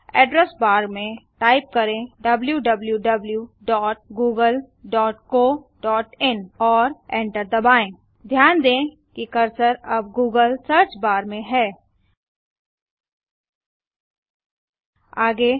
address bar में type करें डब्ल्यूडब्ल्यूडब्ल्यूडब्यूडब्ल्यूडब्ल्यूडब्यूडब्ल्यूडब्यूडब्यूडब्ल्यूडब्यूडब्ल्ल्यूडब्यूडब्ल्यूडब्यूडब्ल्यूडब्ल्यूडब्ल्यूडब्ल्ल्यूडब्यूडब्यूडब्ल्यूडब्यूडब्यूडब्यूडब्ल्यूडब्ल्ल्यूडब्यूडब्यूडब्यूडब्यूडब